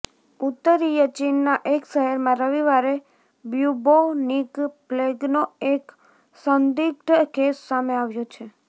ઉત્તરીય ચીનના એક શહેરમાં રવિવારે બ્યુબોનિક પ્લેગનો એક સંદિગ્ધ કેસ સામે આવ્યો છે